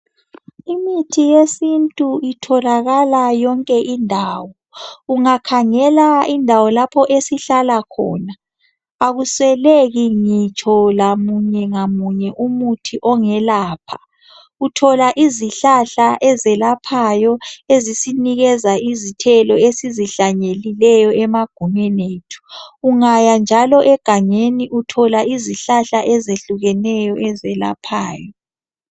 imithi yesintu itholakala yonke indawo ungakhangela lapho esihlala khona akusweleki ngitshomunye lamunye womuthi ongayelapha othola izihlahla eziyelaphayo ezinikeza izithelo esizihlanyelileyo emagumbini ethu ungaya njalo egangeni uthola izihlahla ezehliukeneyo ezelaphayo